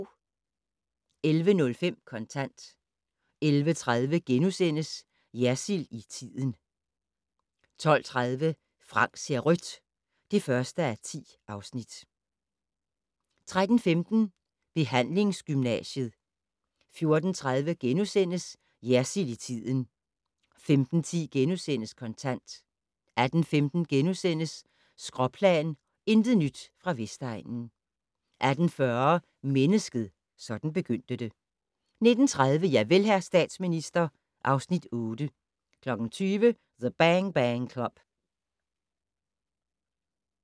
11:05: Kontant 11:30: Jersild i tiden * 12:30: Frank ser rødt (1:10) 13:15: Behandlingsgymnasiet 14:30: Jersild i tiden * 15:10: Kontant * 18:15: Skråplan - intet nyt fra Vestegnen * 18:40: Mennesket - sådan begyndte det 19:30: Javel, hr. statsminister (Afs. 8) 20:00: The Bang Bang Club